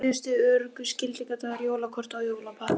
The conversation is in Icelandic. Síðustu öruggu skiladagar jólakorta og jólapakka